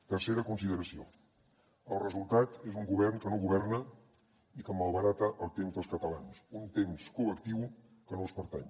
tercera consideració el resultat és un govern que no governa i que malbarata el temps dels catalans un temps col·lectiu que no els pertany